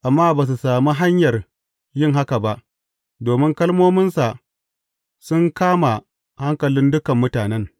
Amma ba su sami hanyar yin haka ba, domin kalmominsa sun kama hankalin dukan mutanen.